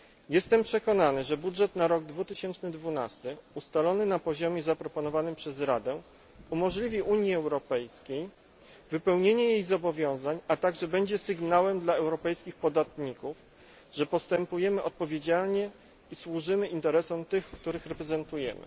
Jestem przekonany, że budżet na rok 2012 ustalony na poziomie zaproponowanym przez Radę umożliwi Unii Europejskiej wypełnienie jej zobowiązań, a także będzie sygnałem dla europejskich podatników, że postępujemy odpowiedzialnie i służymy interesom tych, których reprezentujemy.